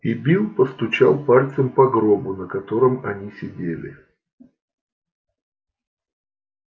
и билл постучал пальцем по гробу на котором они сидели